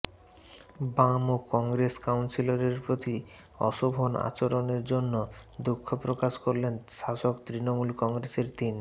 বাম ও কংগ্রেস কাউন্সিলরের প্রতি অশোভন আচরণের জন্য দুঃখ প্রকাশ করলেন শাসক তৃণমূল কংগ্রেসের তিন